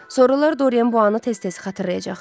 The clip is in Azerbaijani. Sonralar Doryan bunu tez-tez xatırlayacaqdı.